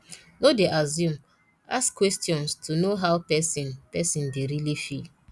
no dey assume ask questions to know how person person dey really feel